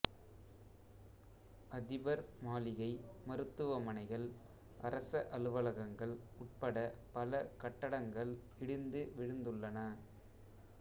அதிபர் மாளிகை மருத்துவமனைகள் அரச அலுவலகங்கள் உட்பட பல கட்டடங்கள் இடிந்து விழுந்துள்ளன